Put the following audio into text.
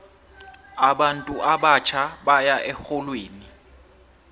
abantu abatjha baya erholweni